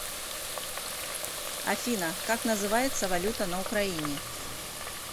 афина как называется валюта на украине